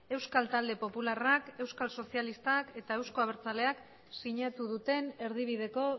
euskal talde popularrak euskal sozialistak eta euzko abertzaleak sinatu duten erdibideko